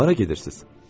Hara gedirsiz?